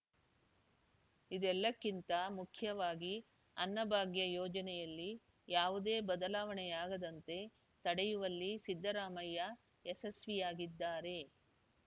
ಇದೆಲ್ಲಕ್ಕಿಂತ ಮುಖ್ಯವಾಗಿ ಅನ್ನಭಾಗ್ಯ ಯೋಜನೆಯಲ್ಲಿ ಯಾವುದೇ ಬದಲಾವಣೆಯಾಗದಂತೆ ತಡೆಯುವಲ್ಲಿ ಸಿದ್ದರಾಮಯ್ಯ ಯಶಸ್ವಿಯಾಗಿದ್ದಾರೆ